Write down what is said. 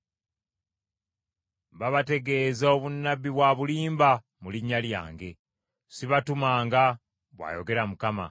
Babategeeza obunnabbi bwa bulimba mu linnya lyange. Sibatumanga,” bw’ayogera Mukama .